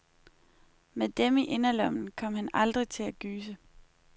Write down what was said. Med dem i inderlommen kom han aldrig til at gyse.